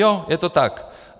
Jo, je to tak.